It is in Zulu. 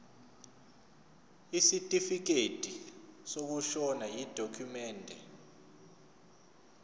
isitifikedi sokushona yidokhumende